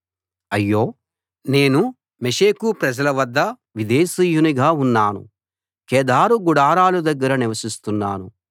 అయ్యో నేను మెషెకు ప్రజల వద్ద విదేశీయునిగా ఉన్నాను కేదారు గుడారాల దగ్గర నివసిస్తున్నాను